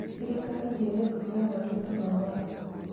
Thirikari nĩĩreka mogarũrũku ma watho